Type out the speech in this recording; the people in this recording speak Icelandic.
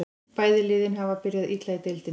Bæði liðin hafa byrjað illa í deildinni.